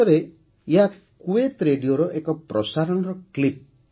ପ୍ରକୃତରେ ଏହା କୁଏତ୍ ରେଡିଓର ଏକ ପ୍ରସାରଣର କ୍ଲିପ୍